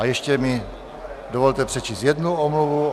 A ještě mi dovolte přečíst jednu omluvu.